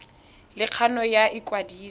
le kgano ya go ikwadisa